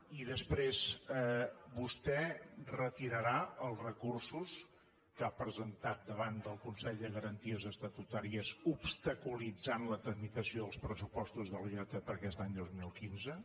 i després vostè retirarà els recursos que ha presentat davant del consell de garanties estatutàries que obstaculitzen la tramitació dels pressupostos de la generalitat per a aquest any dos mil quinze